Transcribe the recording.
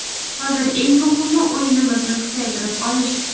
Hozir eng muhimi o‘yinimizni kuchaytirib olish.